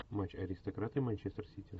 матч аристократы манчестер сити